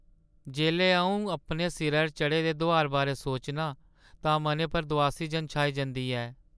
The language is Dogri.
जेल्लै अऊं अपने सिरैʼर चढ़े दे दुहार बारै सोचनां तां मनै पर दुआसी जन छाई जंदी ऐ।